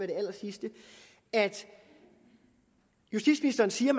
det allersidste at justitsministeren siger